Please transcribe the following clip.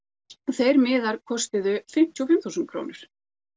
þeir miðar kostuðu fimmtíu og fimm þúsund krónur